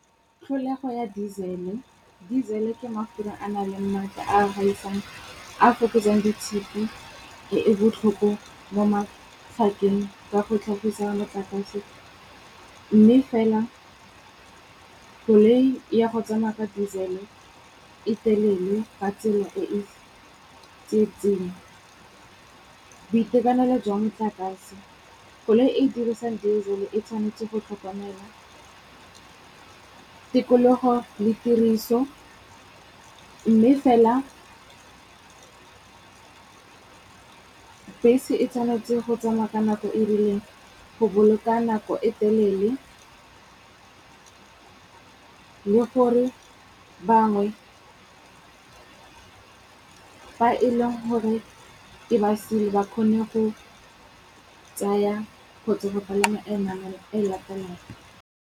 Tlholego ya Disele, Disele ke mafura a nang le maatla a gaisang, a fokotsang di tshipi e e botlhofo mo mafapheng ka go tlhagisa motlakase. Mme fela koloi ya go tsamaya ka disele e telele ka tsela e e tsietseng. Boitekanelo jwa metlakase, koloi e dirisang diesel e tshwanetse go tlhokomelwa, tikologo le tiriso. Mme fela, bese e tshwanetse go tsamaya ka nako e rileng go boloka nako e telele le gore bangwe fa e leng gore e ba sile ba kgone go tsaya kgotsa go palama e nngwe e latelang.